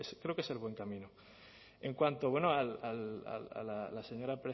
creo que es el buen camino en cuanto a la señora